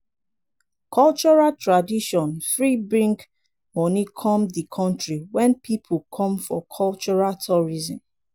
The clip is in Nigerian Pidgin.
cultural tradition fit bring money come di country when pipo come for cultural tourism